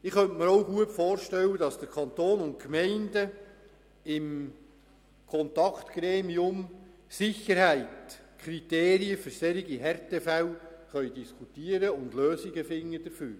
Ich könnte mir auch gut vorstellen, dass der Kanton und die Gemeinden im Kontaktgremium Sicherheit über Kriterien für solche Härtefälle diskutieren und Lösungen dafür finden können.